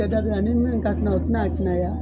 ni min ka kan ka , o ti na kunaya?